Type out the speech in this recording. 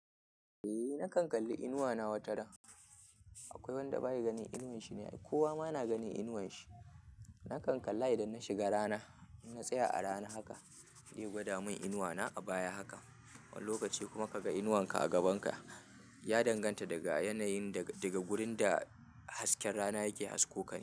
Eh nakan kalli inuwa na wataran. Aƙwai wanda bayi ganin inuwan shi ne, ai kowama na ganin inuwan shi. Nakan kalla idan na shiga rana in na tsaya a rana haka zai gwadamin inuwa na a baya haka. Wani lokaci kuma kaga inuwanka a gaban ka, ya danganta daga yanayin daga wurin da hasken rana yake hasko kane.